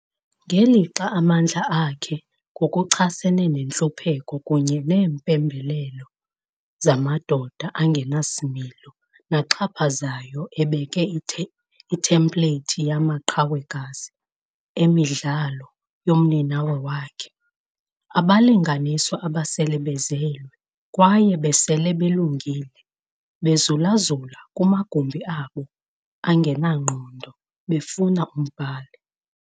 Ngelixa amandla akhe ngokuchasene nentlupheko kunye neempembelelo zamadoda angenasimilo naxhaphazayo ebeka ithempleyithi yamaqhawekazi emidlalo yomninawa wakhe- 'Abalinganiswa abasele bezelwe kwaye besele belungile, bezulazula kumagumbi abo angenangqondo befuna umbhali.